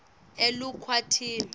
elukwatini